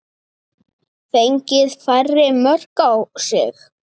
Fengið færri mörk á sig?